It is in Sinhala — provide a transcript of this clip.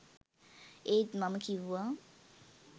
ඒත් මම කිව්වා